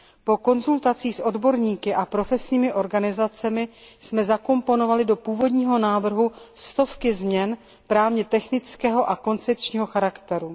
Po konzultacích s odborníky a profesními organizacemi jsme zakomponovali do původního návrhu stovky změn právně technického a koncepčního charakteru.